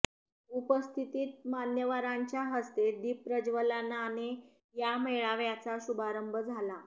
उपस्थित मान्यवरांच्या हस्ते दीपप्रज्वलनाने या मेळाव्याचा शुभारंभ झाला